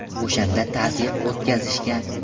O‘shanda tazyiq o‘tkazishgan.